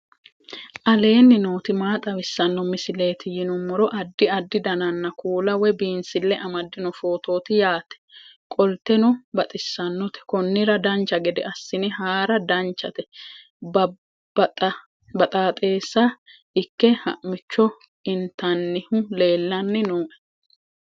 aleenni nooti maa xawisanno misileeti yinummoro addi addi dananna kuula woy biinsille amaddino footooti yaate qoltenno baxissannote konnira dancha gede assine haara danchate baxaaxessa ikke ha'micho intannihu leellanni nooe